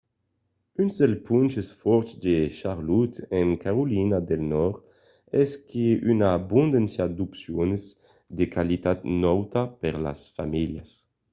un dels ponches fòrts de charlotte en carolina del nòrd es qu'a una abondància d'opcions de qualitat nauta per las familhas